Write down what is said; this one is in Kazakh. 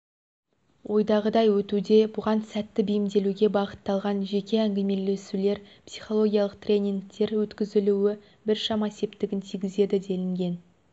ойдағыдай өтуде бұған сәтті бейімделуге бағытталған жеке әңгімелесулер психологиялық тренингтердің өткізілуі біршама септігін тигізеді делінген